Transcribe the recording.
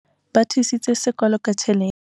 ba thusitse sekolo ka tjhelete